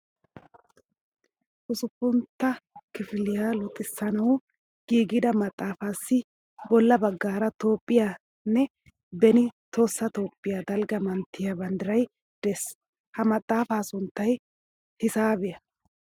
Usuppuntta kifiliya luxissanawu giigida maxaafaassi bolla baggaara Toophphiyaa nne beni Tohossa Toophphiyaa dalgga manttiya banddiray de"es. Ha maxaafaa sunttay hisaabiya